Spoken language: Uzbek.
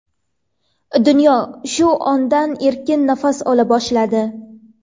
Dunyo shu ondan erkin nafas ola boshladi.